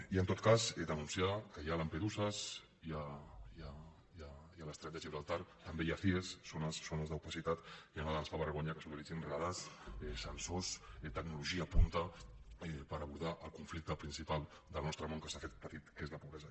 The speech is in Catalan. i en tot cas denunciar que hi ha lampeduses hi ha l’estret de gibraltar també hi ha cie zones d’opacitat i a nosaltres ens fa vergonya que s’utilitzin radars sensors tecnologia punta per abordar el conflicte principal del nostre món que s’ha fet petit que és la pobresa